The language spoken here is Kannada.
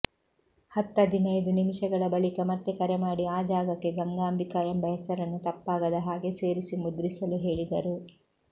ಹತ್ತದಿನೈದು ನಿಮಿಷಗಳ ಬಳಿಕ ಮತ್ತೆ ಕರೆಮಾಡಿ ಆ ಜಾಗಕ್ಕೆ ಗಂಗಾಂಬಿಕಾ ಎಂಬ ಹೆಸರನ್ನು ತಪ್ಪಾಗದ ಹಾಗೆ ಸೇರಿಸಿ ಮುದ್ರಿಸಲು ಹೇಳಿದರು